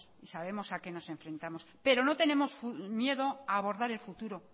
y sabemos a qué nos enfrentamos pero no tenemos miedo a abordar el futuro